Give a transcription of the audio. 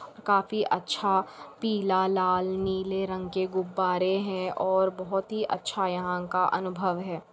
काफी अच्छा पीला लाल नीले रंग के गुब्बारे हैं और बहोत ही अच्छा यहाँ का अनुभव है।